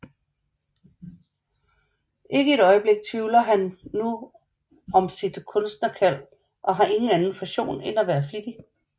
Ikke et øjeblik tvivler han nu om sit kunstnerkald og har ingen anden passion end at være flittig